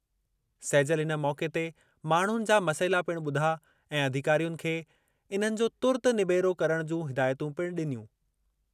सैजल इन मौक़े ते माण्हुनि जा मसइला पिणु ॿुधा ऐं अधिकारियुनि खे इन्हनि जो तुर्तु निबेरो करणु जूं हिदायतूं पिणु डि॒नियूं।